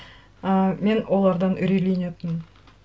ы мен олардан үрейленетінмін